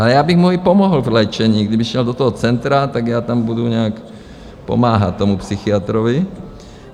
A já bych mu i pomohl v léčení, kdyby šel do toho centra, tak já tam budu nějak pomáhat tomu psychiatrovi.